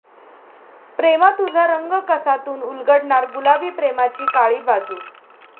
प्रेमा तुझा रंग कसा'तून उलगडणार गुलाबी प्रेमाची काळी बाजू